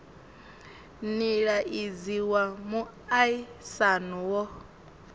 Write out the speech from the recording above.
nila idzi wa muaisano wo